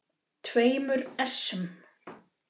tveimur essum.